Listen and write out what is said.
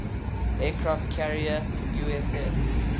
aircraft carrier uss